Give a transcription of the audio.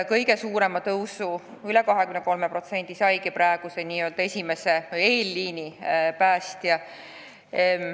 Kõige suurem palgatõus, üle 23% ootabki ees n-ö esimese või eelliini päästjaid.